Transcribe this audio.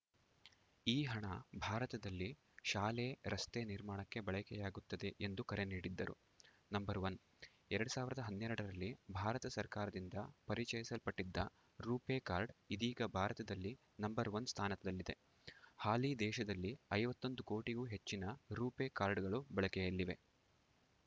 ಈ ಹಣ ಭಾರತದಲ್ಲಿ ಶಾಲೆ ರಸ್ತೆ ನಿರ್ಮಾಣಕ್ಕೆ ಬಳಕೆಯಾಗುತ್ತದೆ ಎಂದು ಕರೆ ನೀಡಿದ್ದರು ನಂಬರ್ ಒನ್ ಎರಡ್ ಸಾವಿರದ ಹನ್ನೆರಡರಲ್ಲಿ ಭಾರತ ಸರ್ಕಾರದಿಂದ ಪರಿಚಯಿಸಲ್ಪಟ್ಟಿದ್ದ ರು ಪೇ ಕಾರ್ಡ್‌ ಇದೀಗ ಭಾರತದಲ್ಲಿ ನಂಬರ್ ಒನ್ ಸ್ಥಾನದಲ್ಲಿದೆ ಹಾಲಿ ದೇಶದಲ್ಲಿ ಐವತ್ತೊಂದು ಕೋಟಿಗೂ ಹೆಚ್ಚಿನ ರು ಪೇ ಕಾರ್ಡ್‌ಗಳು ಬಳಕೆಯಲ್ಲಿವೆ